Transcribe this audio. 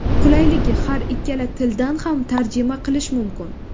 Qulayligi – har ikkala tildan ham tarjima qilish mumkin.